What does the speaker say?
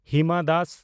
Hima Das